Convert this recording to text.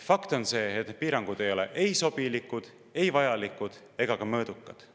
Fakt on see, et piirangud ei ole ei sobilikud, vajalikud ega ka mõõdukad.